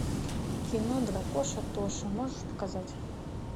кино дракоша тоша можешь показать